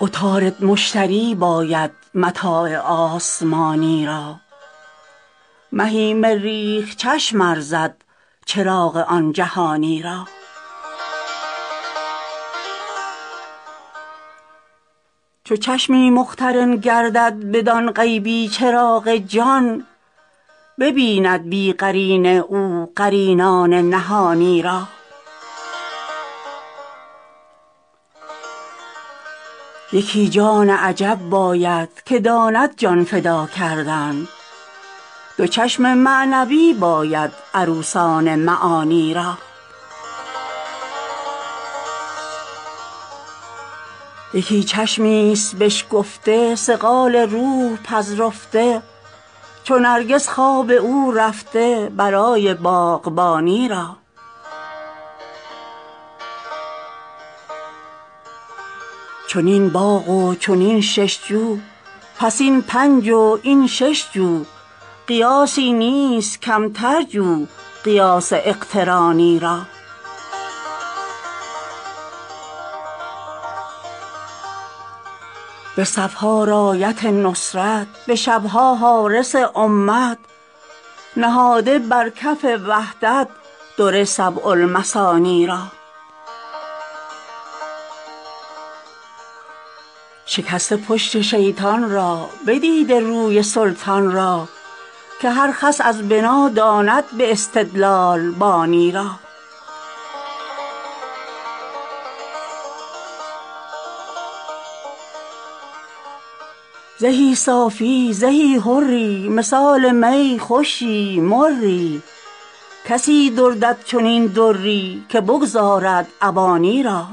عطارد مشتری باید متاع آسمانی را مهی مریخ چشم ارزد چراغ آن جهانی را چو چشمی مقترن گردد بدان غیبی چراغ جان ببیند بی قرینه او قرینان نهانی را یکی جان عجب باید که داند جان فدا کردن دو چشم معنوی باید عروسان معانی را یکی چشمی ست بشکفته صقال روح پذرفته چو نرگس خواب او رفته برای باغبانی را چنین باغ و چنین شش جو پس این پنج و این شش جو قیاسی نیست کمتر جو قیاس اقترانی را به صف ها رأیت نصرت به شب ها حارس امت نهاده بر کف وحدت در سبع المثانی را شکسته پشت شیطان را بدیده روی سلطان را که هر خس از بنا داند به استدلال بانی را زهی صافی زهی حری مثال می خوشی مری کسی دزدد چنین دری که بگذارد عوانی را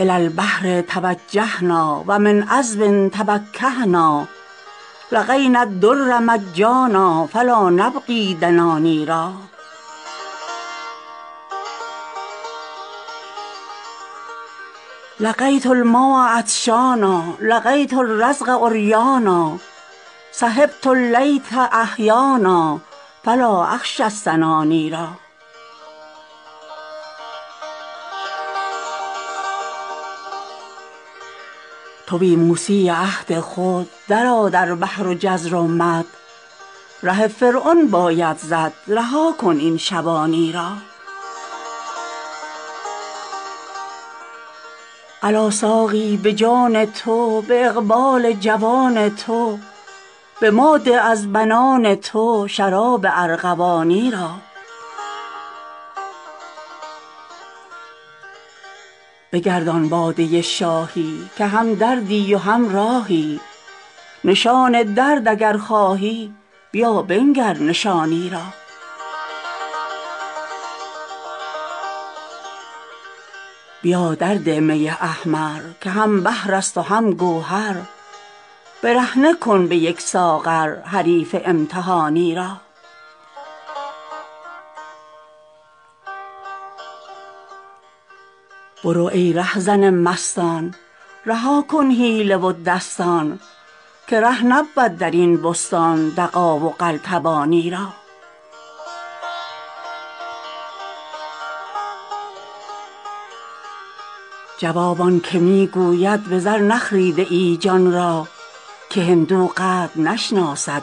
إلى البحر توجهنا و من عذب تفکهنا لقينا الدر مجانا فلا نبغي الدناني را لقيت الماء عطشانا لقيت الرزق عريانا صحبت الليث أحيانا فلا أخشى السناني را توی موسی عهد خود درآ در بحر جزر و مد ره فرعون باید زد رها کن این شبانی را الا ساقی به جان تو به اقبال جوان تو به ما ده از بنان تو شراب ارغوانی را بگردان باده شاهی که همدردی و همراهی نشان درد اگر خواهی بیا بنگر نشانی را بیا درده می احمر که هم بحر است و هم گوهر برهنه کن به یک ساغر حریف امتحانی را برو ای رهزن مستان رها کن حیله و دستان که ره نبود در این بستان دغا و قلتبانی را جواب آنک می گوید به زر نخریده ای جان را که هندو قدر نشناسد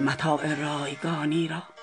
متاع رایگانی را